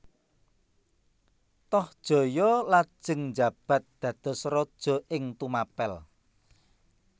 Tohjaya lajeng njabat dados raja ing Tumapel